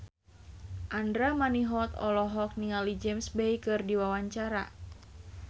Andra Manihot olohok ningali James Bay keur diwawancara